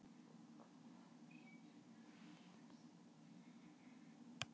Greindarpróf eru mismunandi svo einkunnir úr þeim geta líka verið ólíkar.